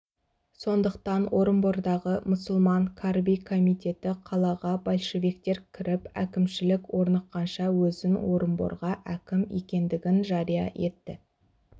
сондықтан орынбордағы мұсылман карби комитеті қалаға большевиктер кіріп әкімшілік орныққанша өзін орынборға әкім екендігін жария етті